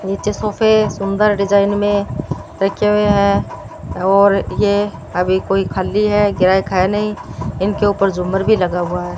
नीचे सोफे सुंदर डिजाइन में रखे हुए हैं और ये अभी कोई खाली है ग्राहक है नहीं इनके ऊपर झूमर भी लगा हुआ है।